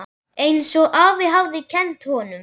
Einsog afi hafði kennt honum.